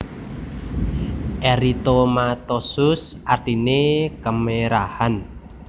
Eritomatosus artine kemerahan